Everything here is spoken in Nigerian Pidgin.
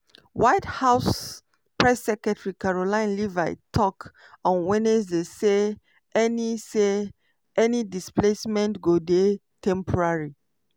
white house press secretary karoline leavitt tok on wednesday say any say any displacement go dey temporary.